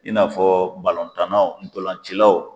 I n'afɔ balontannaw dolancilaw